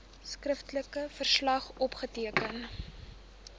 skriftelike verslag opgeteken